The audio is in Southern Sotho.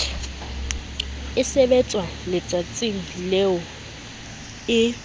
e sebetswa letsatsing leo e